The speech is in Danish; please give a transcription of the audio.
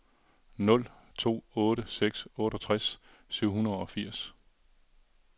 nul to otte seks otteogtres syv hundrede og firs